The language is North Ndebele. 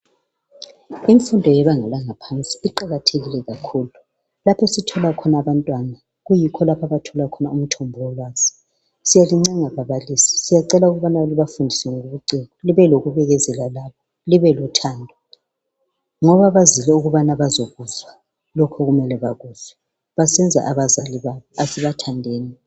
Imfundo yebanga langaphansi iqakathekile kakhulu lapho esithola khona abantwana kuyikho lapho abathola khona umthombo wolwazi. " Siyalincenga babalisi siyacela ukubana libafundise ngobuciko libafundise ngokubekezela libe lothando, ngoba bazile ukubana bazokuzwa lokhu okumele bakuzwe basize abazali babo, asibathandeni.